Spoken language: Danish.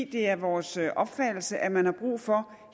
det er vores opfattelse at man har brug for